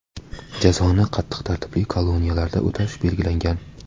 Jazoni qattiq tartibli koloniyalarda o‘tash belgilangan.